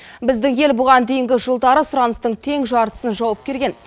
біздің ел бұған дейінгі жылдары сұраныстың тең жартысын жауып келген